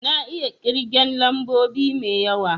Na iya kirgen lambobi mai yawa